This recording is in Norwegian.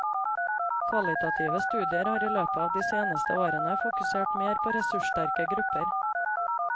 Kvalitative studier har i løpet av de senere årene fokusert mer på ressurssterke grupper.